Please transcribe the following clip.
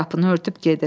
Qapını örtüb gedir.